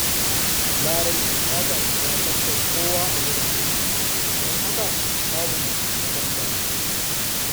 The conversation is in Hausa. Larai ba ta shiga sabgar kowa a wajen aiki, don haka babu mai taimakon ta.